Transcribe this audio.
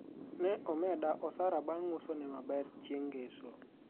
ne omeda osara bang' uso ne maber chieng' ngeso